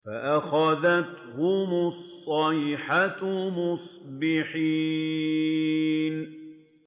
فَأَخَذَتْهُمُ الصَّيْحَةُ مُصْبِحِينَ